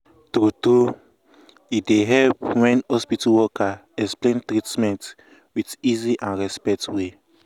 true true e um dey help wen hospital worker explain treatment um with easy and respect way.